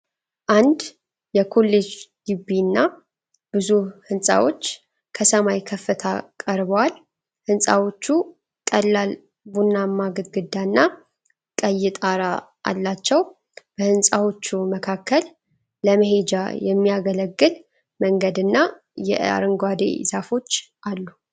አንድ የኮሌጅ ግቢ እና ብዙ ህንጻዎች ከሰማይ ከፍታ ቀርበዋል፡፡ ህንጻዎቹ ቀላል ቡናማ ግድግዳና ቀይ ጣራ አላቸው፡፡ በህንጻዎቹ መካከል ለመሄጃ የሚያገለግል መንገድና የአረንጓዴ ዛፎች አሉ፡፡